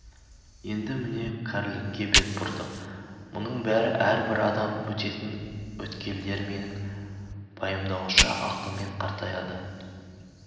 енді міне кәрілікке бет бұрдық мұның бәрі әрбір адам өтетін өткелдер менің пайымдауымша ақылмен қартая да